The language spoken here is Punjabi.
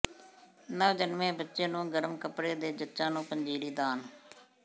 ਨਵਜਨਮੇ ਬੱਚੇ ਨੂੰ ਗਰਮ ਕੱਪੜੇ ਤੇ ਜੱਚਾ ਨੂੰ ਪੰਜੀਰੀ ਦਾਨ